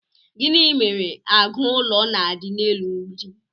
gini mere agu ulo na'di n'elu mb͕idi?